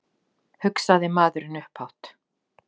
Geta hvalir talað saman?